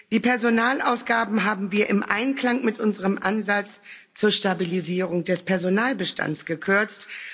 Die Personalausgaben haben wir im Einklang mit unserem Ansatz zur Stabilisierung des Personalbestands gekürzt